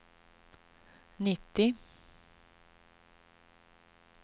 nittio